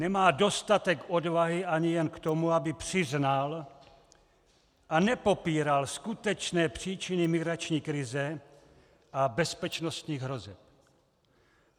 Nemá dostatek odvahy ani jen k tomu, aby přiznal a nepopíral skutečné příčiny migrační krize a bezpečnostních hrozeb.